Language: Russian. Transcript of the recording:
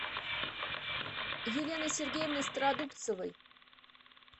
еленой сергеевной стародубцевой